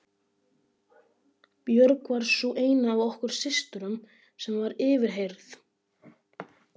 Björg var sú eina af okkur systrum sem var yfirheyrð.